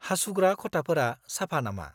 -हासुग्रा खथाफोरा साफा नामा?